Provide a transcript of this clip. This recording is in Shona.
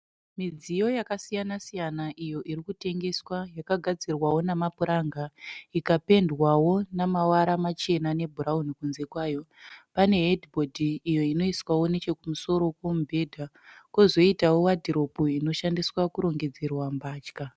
Midziyo yakasiyana siyana iyo iri kutengeswa yakagadzirwa namapuranga ikapendwawo namawara machena nebhurawuni kunze kwayo. Pane hedhibhodhi iyo inoiswawo nechokumusoro kwemubhedha kozoitawo wadhiropu inoshandiswa kurongedzerwa mbatya.